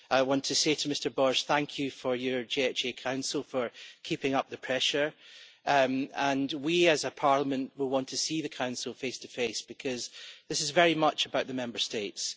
I want to say to Mr Borg thank you to your JHA Council for keeping up the pressure, and we as a Parliament will want to see the Council face to face, because this is very much about the Member States.